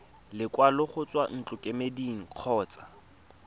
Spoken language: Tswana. lekwalo go tswa ntlokemeding kgotsa